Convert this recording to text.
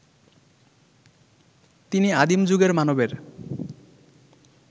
তিনি আদিম যুগের মানবের